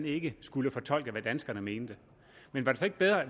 ikke skulle fortolke hvad danskerne mente men var det så ikke bedre